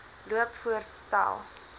loop voorts stel